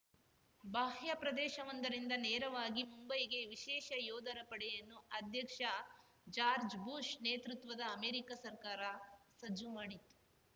ಬಾಹ್ಯ ಪ್ರದೇಶವೊಂದರಿಂದ ನೇರವಾಗಿ ಮುಂಬೈಗೆ ವಿಶೇಷ ಯೋಧರ ಪಡೆಯನ್ನು ಅಧ್ಯಕ್ಷ ಜಾರ್ಜ್ ಬುಷ್‌ ನೇತೃತ್ವದ ಅಮೆರಿಕ ಸರ್ಕಾರ ಸಜ್ಜು ಮಾಡಿತ್ತು